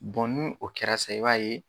ni o kɛra sa i b'a ye